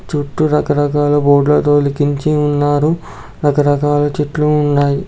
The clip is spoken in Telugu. చుట్టూ రకరకాల బోర్డ్ లు అయితే లికించి ఉంచారు రకరకాల చెట్లు ఉన్నాయి.